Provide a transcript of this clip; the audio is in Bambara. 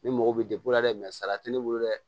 Ni mɔgɔw bɛ dɛ sara tɛ ne bolo dɛ